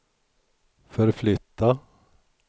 förflytta